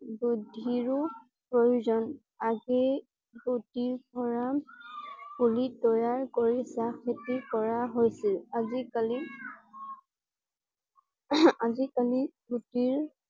বুদ্ধিৰো প্ৰয়োজন। আজি গুটি পুলি তৈয়াৰ কৰি চাহ বিক্ৰী কৰা হৈছিল আজি কালি আজি কালি গুটিৰ